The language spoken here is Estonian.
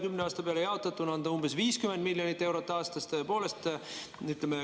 Kümne aasta peale jaotatuna on see umbes 50 miljonit eurot aastas.